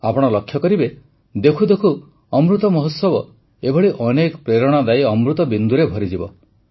ଆପଣ ଲକ୍ଷ୍ୟ କରିବେ ଦେଖୁ ଦେଖୁ ଅମୃତ ମହୋତ୍ସବ ଏଭଳି ଅନେକ ପ୍ରେରଣାଦାୟୀ ଅମୃତ ବିନ୍ଦୁରେ ଭରିଯିବ